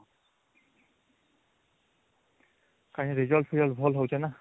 କାଇଁ result result ଭଲ ହଉଛି ନା